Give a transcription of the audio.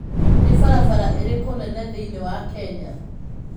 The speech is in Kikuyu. Nĩ barabara irĩkũ nene thĩinĩ wa Kenya?